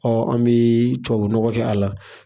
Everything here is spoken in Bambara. an bɛ tubabunɔgɔ kɛ a la